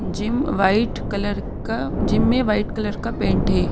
Gym white colour का gym में white colour का पेंट है।